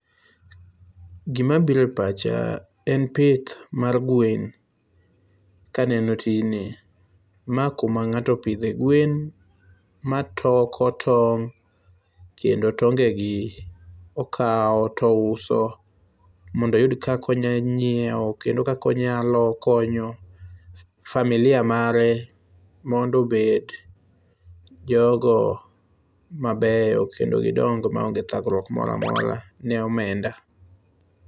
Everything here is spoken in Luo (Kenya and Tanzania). Gima biro e pacha en pith mar gwen. Kaneno tijni, ma kuma ng'ato opidhe gwen matoko tong' kendo tongegi okawo touso mondo oyud kaka onyalo nyiewo kendo kaka onyalo konyo familia mare mondo obed jogo mabeyo kendo gidong maonge thagruok moro amora ne omenda.